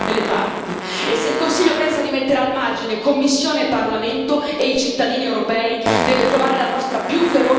E se il Consiglio pensa di mettere al margine Commissione e Parlamento e i cittadini europei, deve trovare la nostra più feroce opposizione.